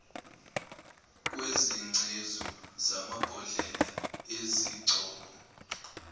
kwezingcezu zamabhodlela ezigcobo